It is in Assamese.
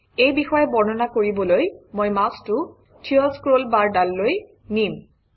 এই বিষয়ে বৰ্ণনা কৰিবলৈ মই মাউচটো থিয় স্ক্ৰলবাৰডাললৈ নিম